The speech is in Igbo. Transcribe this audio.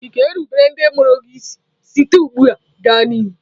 Ị ga-erubere ndị mụrụ gị isi site ugbu a gaa n'ihu?